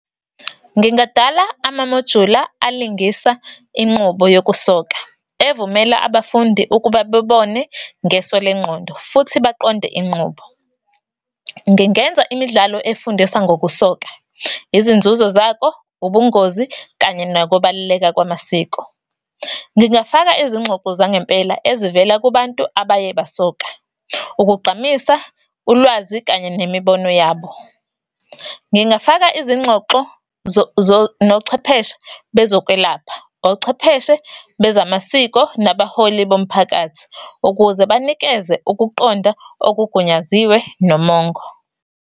Ngingadala amamojula alingisa inqubo yokusoka evumela abafundi ukuba bebone ngeso lengqondo, futhi baqonde inqubo. Ngingenza imidlalo efundisa ngokusoka, izinzuzo zakho, ubungozi, kanye nokubaluleka kwamasiko. Ngingafaka izingxoxo zangempela ezivela kubantu abaye basoka ukugqamisa ulwazi, kanye nemibono yabo. Ngingafaka izingxoxo nochwepheshe bezokwelapha, ochwepheshe bezamasiko, nabaholi bomphakathi, ukuze banikeze ukuqonda okugunyaziwe nomongo.